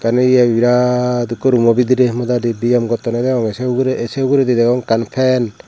eye birad ikko rumo bidirey modadi biyem gottonney degong sei ugurey sei uguredi degong ekkan fan.